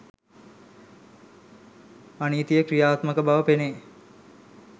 අනීතිය ක්‍රියාත්මක බව පෙනේ.